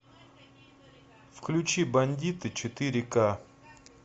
включи бандиты четыре ка